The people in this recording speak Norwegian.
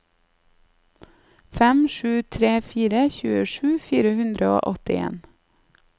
fem sju tre fire tjuesju fire hundre og åttien